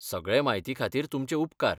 सगळे म्हायती खातीर तुमचे उपकार.